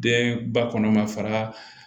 Den ba kɔnɔ ma fara